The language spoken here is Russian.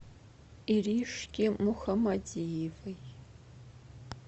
иришке мухамадиевой